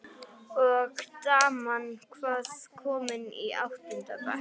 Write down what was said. Og daman, hvað- komin í áttunda bekk?